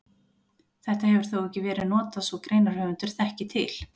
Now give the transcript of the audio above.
Þetta hefur þó ekki verið notað svo greinarhöfundur þekki til.